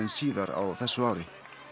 síðar á þessu ári